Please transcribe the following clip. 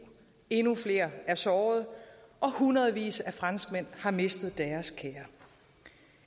endnu flere er såret og hundredvis af franskmænd har mistet deres kære